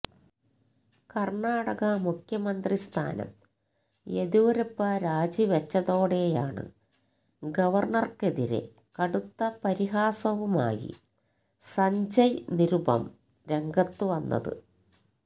കര്ണാടക മുഖ്യമന്ത്രി സ്ഥാനം യെദ്യൂരപ്പ രാജിവെച്ചതോടെയാണ് ഗവര്ണകര്ക്കതിരെ കടുത്ത പരിഹാസവുമായി സഞ്ജയ് നിരുപം രംഗത്ത് വന്നത്